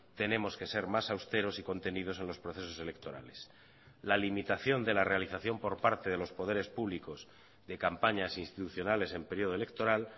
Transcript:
tenemos que ser más austeros y contenidos en los procesos electorales la limitación de la realización por parte de los poderes públicos de campañas institucionales en periodo electoral